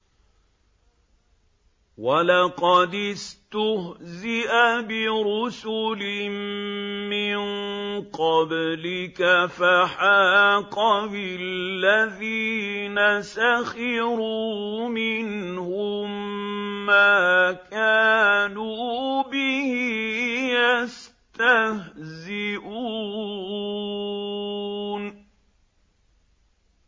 وَلَقَدِ اسْتُهْزِئَ بِرُسُلٍ مِّن قَبْلِكَ فَحَاقَ بِالَّذِينَ سَخِرُوا مِنْهُم مَّا كَانُوا بِهِ يَسْتَهْزِئُونَ